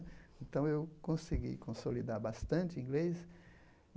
Então eu consegui consolidar bastante o inglês.